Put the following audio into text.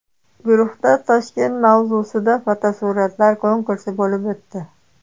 Guruhda Toshkent mavzusida fotosuratlar konkursi bo‘lib o‘tdi.